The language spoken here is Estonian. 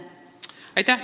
Kuidas teile tundub?